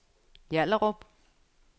Hjallerup